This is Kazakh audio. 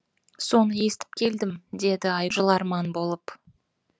соны естіп келдім деді ай жыларман болып